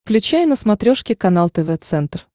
включай на смотрешке канал тв центр